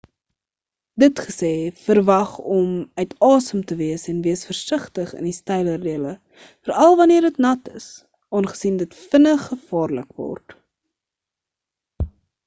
dit gesê verwag om uit asem te wees en wees versigtig in die steiler dele veral' wanneer dit nat is aangesien dit vinnig gevaarlik word